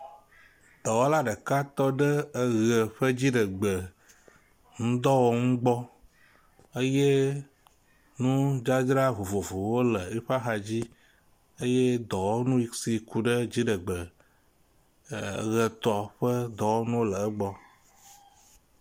Dɔwɔla ɖeka tɔ ɖe eʋe ƒe dziɖegbe ŋdɔwɔnu gbɔ eye nudzadzra vovovowo le eƒe axadzi eye dɔwɔnu si ke ku ɖe dziɖegbe ʋe tɔ ƒe dɔwɔnuwo le egbɔ.